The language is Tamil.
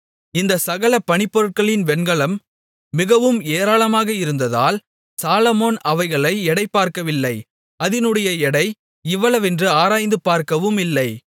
இந்தச் சகல பணிப்பொருட்களின் வெண்கலம் மிகவும் ஏராளமாக இருந்ததால் சாலொமோன் அவைகளை எடை பார்க்கவில்லை அதினுடைய எடை இவ்வளவென்று ஆராய்ந்து பார்க்கவுமில்லை